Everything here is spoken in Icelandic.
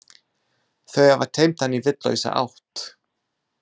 Þau hafa teymt hann í vitlausa átt.